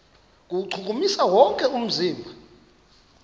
kuwuchukumisa wonke umzimba